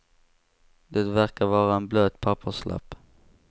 Det verkade vara en blöt papperslapp.